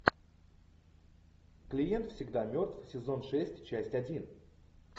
клиент всегда мертв сезон шесть часть один